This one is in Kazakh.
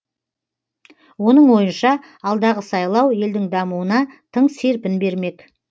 оның ойынша алдағы сайлау елдің дамуына тың серпін бермек